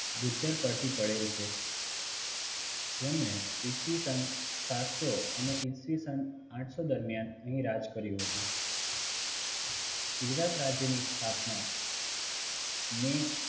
ગુજ્જર પરથી પડેલ છે જેમણે ઈસવીસન સાતસો અને ઈસવીસન અઠસો દરમિયાન અહીં રાજ કર્યું હતું ગુજરાત રાજ્ય ની સ્થાપના મે